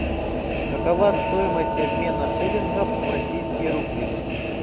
какова стоимость обмена шиллингов в российские рубли